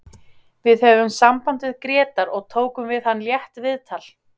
Við höfðum samband við Grétar og tókum við hann létt viðtal.